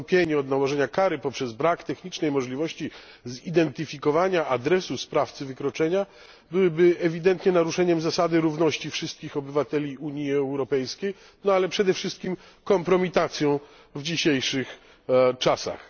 Odstąpienie od nałożenia kary z powodu braku technicznej możliwości zidentyfikowania adresu sprawcy wykroczenia byłoby ewidentnie naruszeniem zasady równości wszystkich obywateli Unii Europejskiej, ale przede wszystkim kompromitacją w dzisiejszych czasach.